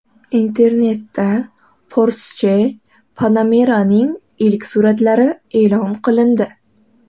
Internetda Porsche Panamera’ning ilk suratlari e’lon qilindi.